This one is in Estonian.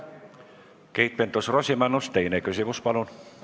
Keit Pentus-Rosimannus, teine küsimus, palun!